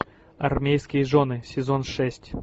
армейские жены сезон шесть